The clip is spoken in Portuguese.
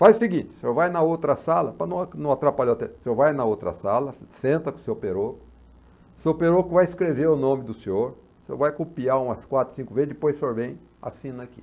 Faz o seguinte, o senhor vai na outra sala, para não não atrapalhar, o senhor vai na outra sala, senta com o seu peroco, o seu peruco vai escrever o nome do senhor, o senhor vai copiar umas quatro, cinco vezes, depois o senhor vem, assina aqui.